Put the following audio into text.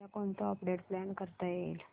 उद्या कोणतं update plan करता येईल